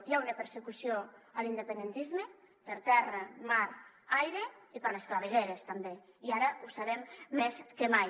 hi ha una persecució a l’independentisme per terra mar aire i per les clavegueres també i ara ho sabem més que mai